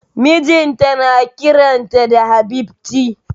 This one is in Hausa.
Mijinta na kiran ta da Habibti